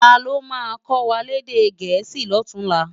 Táló má kòwá lèdè èdè Gẹẹsi lòtúnlá?